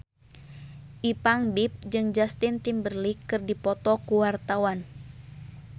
Ipank BIP jeung Justin Timberlake keur dipoto ku wartawan